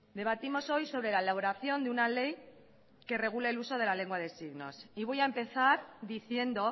debatimos hoy sobre la elaboración de una ley que regule el uso de la lengua de signos y voy a empezar diciendo